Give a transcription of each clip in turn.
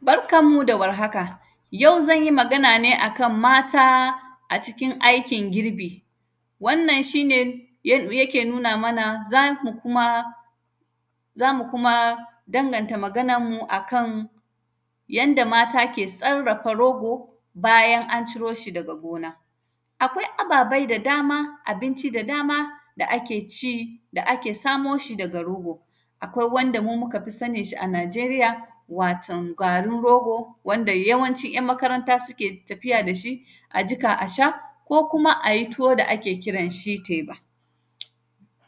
Barkan mu da warhaka, yau zan yi magan ne a kan mata a cikin aikin girbi. Wannan, shi ne ya; yake nuna mana, za mu kuma, za mu kuma danganta magananmu a kan yadda mata ke tsarrafa rogo, bayan an ciro shi daga gona. Akwai ababai da dama, abinci da dama, da ake ci, da ake samo shi daga rogo. Akwai wanda mu muka fi sanin shi a Naijeriya, waton garin rogo wanda yawanci ‘yan makaranta suke tafiya da shi, a jika a sha, ko kuma a yi tuwo da ake kiran shi teba.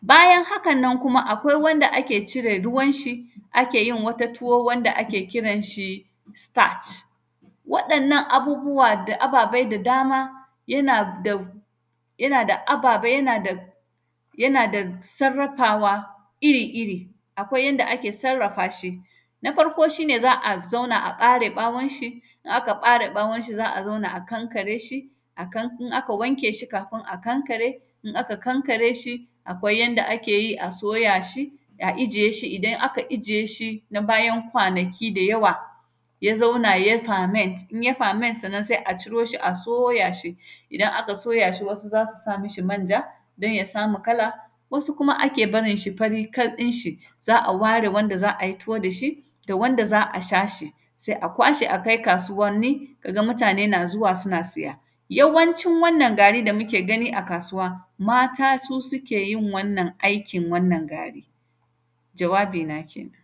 Bayan hakan nan kuma, akwai wanda ake cire ruwanshi, ake yin wata tuwo wanda ake kiran shi “stach”. Waɗannan abubuwa da ababai da dama, yana dab; yana da ababai, yana da dab; yana dag; sarrafawa iri-iri. Akwai yanda ake sarrafa shi. Na farko, shi ne za a zauna a ƃare ƃawonshi, in aka ƃare ƃawonshi, za a zauna a kankare shi, akan, in aka wanke shi kafin a kankare, in aka kankare shi, akwai yanda ake yi a soya shi, a ijiye shi, idan aka ijiye shin a bayan kwanaki da yawa, yana zauna ya “parment”, in ya “parment”, sannan se a ciro shi a soya shi. Idan aka soya shi wasu za su sa mishi manja dan ya samu kala, wasu kuma ake barin shi fari fat ɗinshi. Za a ware wanda za a yi tuwo da shi, to wanda za a sha shi, se a kwashe a kai kasuwanni, ka ga mutane na zuwa sina siya. Yawancin wannan gari da muke gani a kasuwa, mata su sike yin wannan aikin wannan gari. Jawabina kenan.